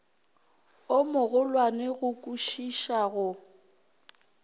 o mogolwane go kwišiša go